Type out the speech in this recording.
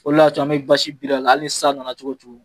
O le y'a to an bɛ basi biri a la hali ni san nana cogo o cogo